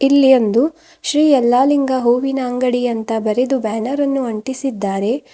ಇಲ್ಲಿ ಒಂದು ಶ್ರೀ ಯಲ್ಲಾಲಿಂಗ ಹೂವಿನ ಅಂಗಡಿ ಅಂತ ಬರೆದು ಬ್ಯಾನರ್ ಅನ್ನು ಅಂಟಿಸಿದ್ದಾರೆ.